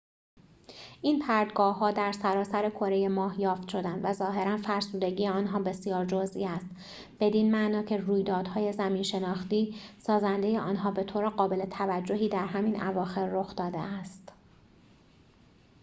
این پرتگاه‌ها در سراسر کره ماه یافت شدند و ظاهراً فرسودگی آنها بسیار جزئی است بدین معنا که رویدادهای زمین‌شناختی سازنده آنها به‌طور قابل توجهی در همین اواخر رخ داده است